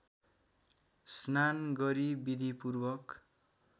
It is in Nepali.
स्नान गरी विधिपूर्वक